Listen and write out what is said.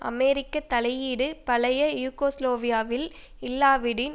அமெரிக்க தலையீடு பழைய யூகோஸ்லாவியாவில் இல்லாவிடின்